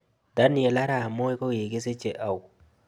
Daniel arap moi ko kigisichee au